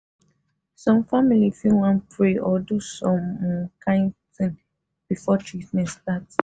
some families fit wan pray or do some um kin thing before treatment start.